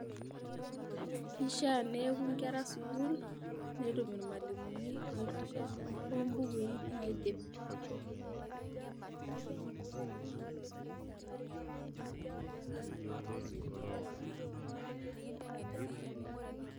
Kishaa neyeku inkera sukuul netum ilmalimuni oitosha tenebo imbukui naidip.